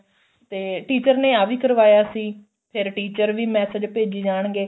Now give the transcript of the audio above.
ਤੇ teacher ਨੇ ਆ ਵੀ ਕਰਵਾਇਆ ਸੀ ਫੇਰ teacher ਵੀ massage ਭੇਜੀ ਜਾਣਗੇ